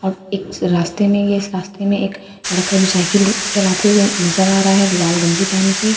और एक रास्ते में यह रास्ते में एक लड़का जो साइकिल रु चलाते हुए नजर आ रहा है लाल गंजी पहन के--